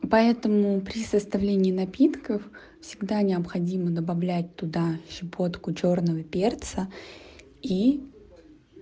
поэтому при составлении напитков всегда необходимо добавлять туда щепотку чёрного перца и